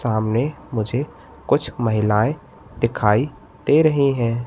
सामने मुझे कुछ महिलाएं दिखाई दे रही हैं।